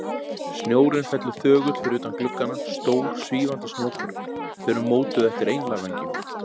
Snjórinn fellur þögull fyrir utan gluggana, stór, svífandi snjókorn, þau eru mótuð eftir englavængjum.